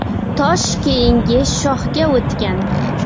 Tosh keyingi shohga o‘tgan.